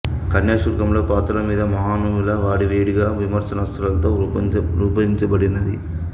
కన్యాశుల్కం లో పాత్రల మీద మహామహుల వాడి వేడి గా విమర్శనాస్త్రాలతో రూపొందినది